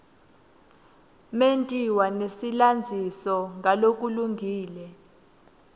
mentiwa nesilandziso ngalokulungile